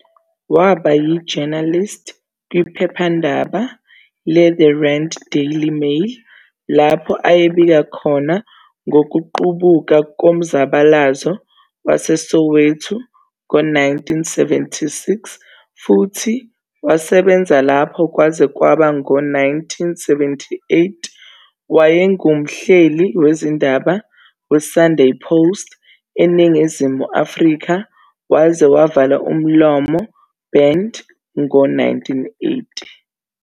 Waba yi-journalist kwiphephandaba le-"The Rand Daily Mail" lapho ayebika khona ngokuqubuka komzabalazo waseSoweto ngo-1976 futhi wasebenza lapho kwaze kwaba ngo-1978. Wayengumhleli wezindaba "weSunday Post", eNingizimu Afrika, waze wavalwa umlomo, banned, ngo-1980.